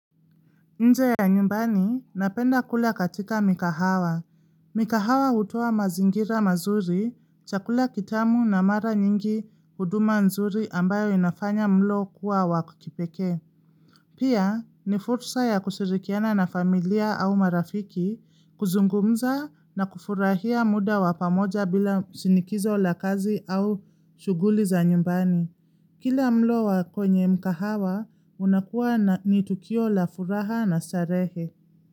Nje ya nyumbani napenda kula katika mikahawa. Mikahawa hutoa mazingira mazuri, chakula kitamu na mara nyingi huduma nzuri ambayo inafanya mlo kuwa wa kipekee. Pia ni fursa ya kushirikiana na familia au marafiki kuzungumza na kufurahia muda wa pamoja bila shinikizo la kazi au shughuli za nyumbani. Kila mlo wa kwenye mkahawa unakuwa ni tukio la furaha na starehe.